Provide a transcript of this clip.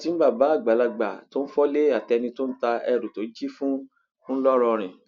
wọn ti mú bàbá àgbàlagbà tó ń fọlé àtẹni tó ń ta èrú tó jí fún ńlọrọrìn